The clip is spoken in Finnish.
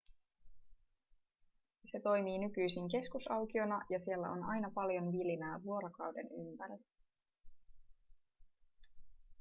se toimii nykyisin keskusaukiona ja siellä on aina paljon vilinää vuorokauden ympäri